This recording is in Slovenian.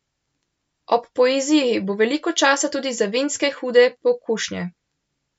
Ob poeziji bo veliko časa tudi za vinske Hude pokušnje!